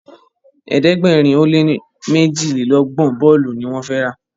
ẹ̀ẹ́dẹ̀gbẹ̀rin o lẹ ní mejilelogbon bóòlù ní wón fè rá.